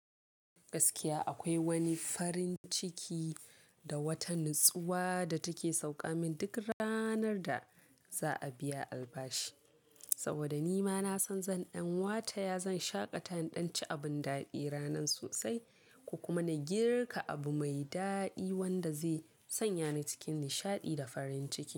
Gaskiya akwai wani farin ciki da wata natsuwa da take sauka min duk ranar da za a biya albashi. Saboda ni ma na san zan ɗan wataya zan shaƙata idan ci abun daɗi ranar sosai, ko kuma na girka abu mai daɗi wanda zai sanya ni cikin nishaɗi da farin ciki.